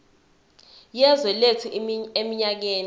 yezwe lethu eminyakeni